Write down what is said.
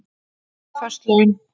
Föst laun